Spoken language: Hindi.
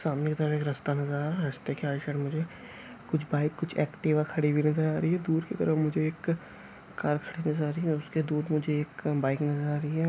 सामने के तरफ एक रस्ता नजर आ रहा है रस्ता के राइट साइड मुझे कुछ बाईक कुछ एक्टिवा खड़ी हुई नजर आ रही है। दुर कि तरफ़् मुझे एक कार खड़ी हुई नजर आ रही है और उसके दुर एक बाईक नजर आ रही है।